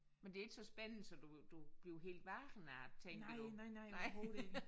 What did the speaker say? Men det ikke så spændende så du du bliver helt vågen af at tænke jo nej